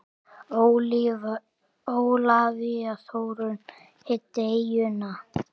Ólafía Þórunn hitti eyjuna.